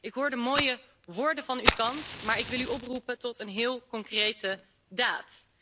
Ik hoor de mooie woorden van uw kant, maar wil u oproepen tot een heel concrete daad.